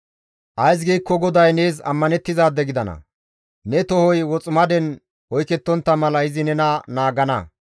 Ays giikko GODAY nees ammanettizaade gidana; ne tohoy woximaden oykettontta mala izi nena naagana.